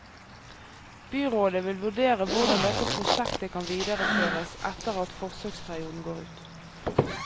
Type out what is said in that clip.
Byrådet vil vurdere hvordan dette prosjektet kan videreføres etter at forsøksperioden går ut.